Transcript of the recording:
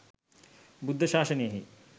බුද්ධ ශාසනයෙහි